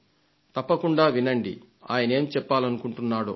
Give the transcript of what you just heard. తప్పకుండా వినండి ఆయనేం చెప్పాలనుకుంటున్నాడో